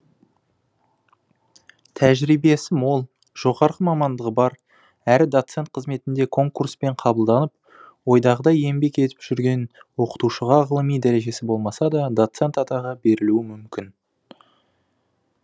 тәжірибесі мол жоғарғы мамандығы бар әрі доцент қызметінде конкурспен қабылданып ойдағыдай еңбек етіп жүрген оқытушыға ғылыми дәрежесі болмаса да доцент атағы берілуі мүмкін